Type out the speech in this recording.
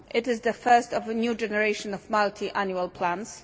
It is the first of a new generation of multi annual plans.